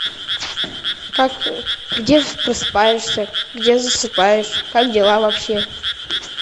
как где просыпаешься где засыпаешь как дела вобще